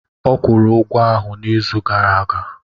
Ọ kwụrụ ụgwọ ahụ n'izu gara aga.